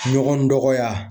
Ɲɔgɔn dɔgɔya.